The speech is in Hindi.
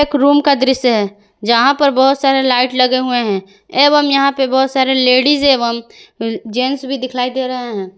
एक रूम का दृश्य है जहां पर बहुत सारे लाइट लगे हुए हैं एवं यहां पर बहुत सारे लेडिस एवं जेंट्स भी दिखलाई दे रहे हैं।